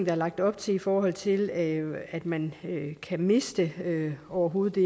er lagt op til i forhold til at at man kan miste det overhovedet